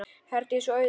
Herdís og Auður.